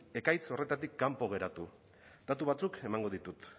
ekaitz horretatik kanpo geratu datu batzuk emango ditut